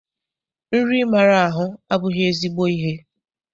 Nri ịmara ahụ abụghị ezigbo ihe.